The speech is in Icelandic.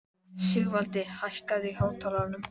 Sigurvaldi, hækkaðu í hátalaranum.